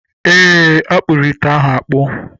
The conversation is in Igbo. Eé, a kpụrụ ite ahụ akpụ.